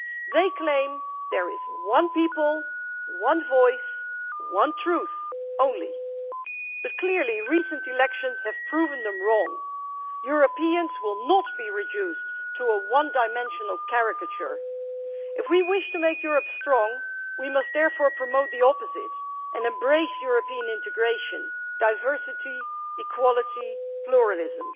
They claim there is one people, one voice, one truth only, but clearly recent elections have proved them wrong. Europeans will not be reduced to a one dimensional caricature. If we wish to make Europe strong we must therefore promote the opposite and embrace European integration, diversity, equality, pluralism.